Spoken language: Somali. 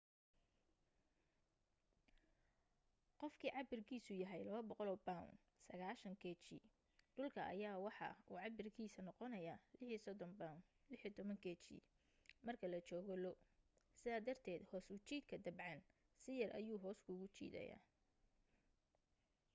qofkii cabirkiisu yahay 200 pound 90kg dhulka ayaa waxa uu cabirkiisa noqonaaya 36 pound 16kg marka la joogo lo. sidaa darted hoos u jiidka dabcan si yar ayuu hoos kuugu jiidaya